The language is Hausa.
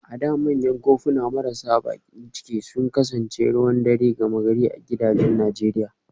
A da manyan kofuna marasa bakin ciki sun kasance ruwan dare gama gari a gidajen Najeriya